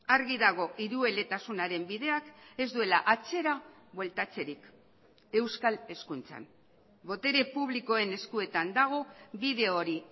argi dago hirueletasunaren bideak ez duela atzera bueltatzerik euskal hezkuntzan botere publikoen eskuetan dago bide hori